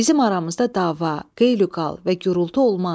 Bizim aramızda dava, qeyliqal və gurultu olmaz.